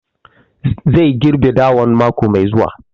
Zai girɓe dawan mako mai zuwa